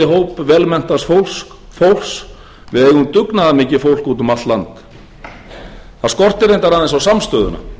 hóp vel menntaðs fólks við eigum dugnaðarmikið fólk úti um allt land það skortir reyndar aðeins á samstöðuna virðulegi